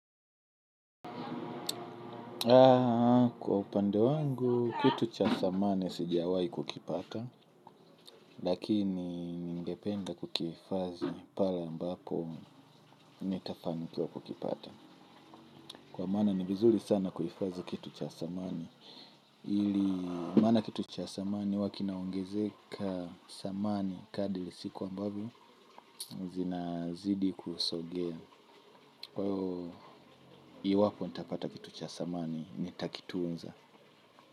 Kwa upande wangu, kitu cha dhamani sijiawai kukipata. Lakini ningependa kukihifadhi ni pale ambapo nitapani kukipata. Kwa maana ni vizuri sana kuhifadhi kitu cha thamani ili maana kitu cha thamani huwa kinaongezeka thamani kadri siku ambavyo zinazidi kusogea iwapo nitapata kitu cha thamani nitakitunza.